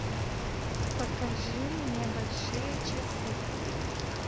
покажи мне большие часы